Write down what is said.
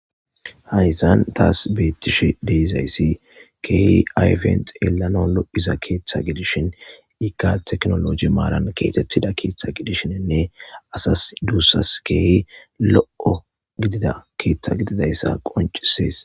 Haysan taas beettishe deizayssi keeyi ayfent yelano lo'isa keeththa gidishin iika teknoloji maalan keetettida keeththa gidishininne asas duussas keeyi lo'o gidida keeththa gididayssa qoncisees.